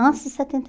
Antes de setenta e